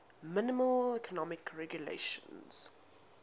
minimal economic regulations